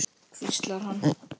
hvíslar hann.